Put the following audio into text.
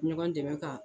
Ɲɔgɔn dɛmɛ ka